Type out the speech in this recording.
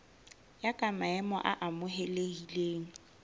ya ka maemo a amohelehileng